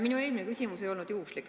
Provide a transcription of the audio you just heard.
Minu eelmine küsimus ei olnud juhuslik.